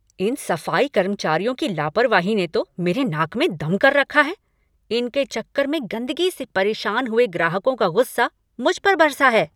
इन सफाई कर्मचारियों की लापरवाही ने तो मेरे नाक में दम कर रखा है, इनके चक्कर में गंदगी से परेशान हुए ग्राहकों का गुस्से मुझ पर बरसा है।